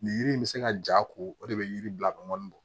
Nin yiri in bɛ se ka ja ko o de bɛ yiri bila ka mɔni bɔ